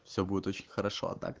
все будет очень хорошо а так